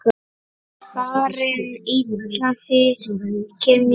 Farin illa þykir mér.